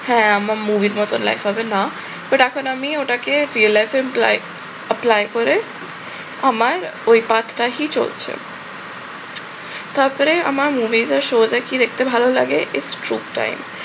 হ্যাঁ আমার movie র ব্যাপারে like হবে না but এখন আমি ওটাকে real life employ apply করে আমার ওই চলছে। তারপরে আমার movies এ shows এ কি দেখতে ভাল লাগে? its truth time